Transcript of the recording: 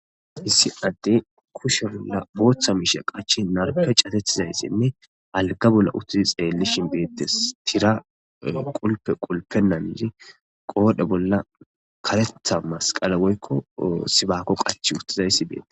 Issi adde kushe bolla booththa miishe qachi narpe cadetiza issanne alga bolla uttidi xeellishin beettes. Tira qulpe qulpe mayidi qoobe bolla karetha masqale woykko sibaako qachi uttiza issi bees.